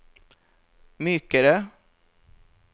mykere